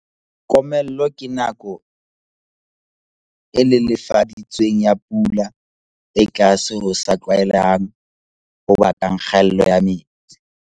Komello ke nako e lelefa ditsweng ya pula e tlase ho sa tlwaelehang ho bakang kgaello ya metsi.